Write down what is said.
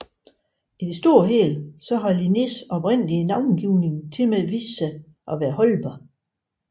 I det store og hele har Linnés oprindelige navngivning tilmed vist sig at være holdbar